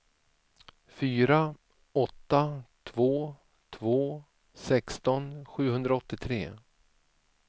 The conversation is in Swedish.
fyra åtta två två sexton sjuhundraåttiotre